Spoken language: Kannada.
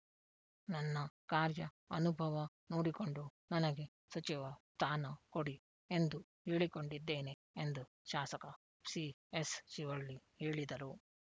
ನನ್ನ ಕಾರ್ಯ ಅನುಭವ ನೋಡಿಕೊಂಡು ನನಗೆ ಸಚಿವ ಸ್ಥಾನ ಕೊಡಿ ಎಂದು ಹೇಳಿಕೊಂಡಿದ್ದೇನೆ ಎಂದು ಶಾಸಕ ಸಿಎಸ್‌ ಶಿವಳ್ಳಿ ಹೇಳಿದರು